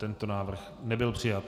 Tento návrh nebyl přijat.